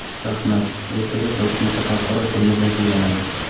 Shaxmat: ertaga Toshkentda xalqaro turnir yakunlanadi.